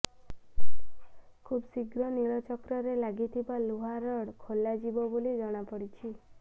ଖୁବ୍ଶୀଘ୍ର ନୀଳଚକ୍ରରେ ଲାଗିଥିବା ଲୁହା ରଡ୍ ଖୋଲାଯିବ ବୋଲି ଜଣାପଡ଼ିଛି